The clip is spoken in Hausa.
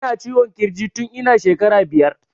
Ina ciwon kirji tun ina shekara biyar